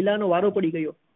ગિલા નો તો વારો પડી ગયો